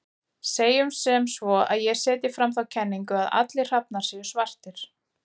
Segjum sem svo að ég setji fram þá kenningu að allir hrafnar séu svartir.